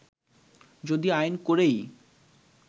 যদি আইন করেই